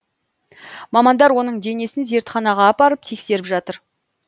мамандар оның денесін зертханаға апарып тексеріп жатыр